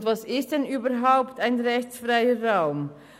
Und was ist denn überhaupt ein rechtsfreier Raum?